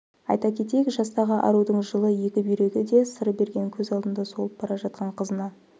айта кетейік жастағы арудың жылы екі бүйрегі де сыр берген көз алдында солып бара жатқан қызына